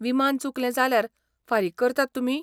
विमान चुकलें जाल्यार फारीक करतात तुमी?